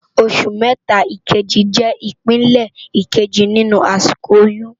Óṣù mètá ikéjí jè ipélé ikéjí ninú àsikó óyùn